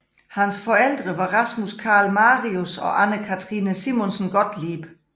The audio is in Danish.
Hans forældre var Rasmus Carl Marius og Anne Cathrine Simonsen Gottlieb